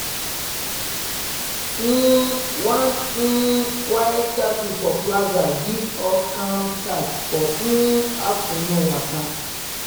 um one um quiet statue for plaza give us calm start for um afternoon waka.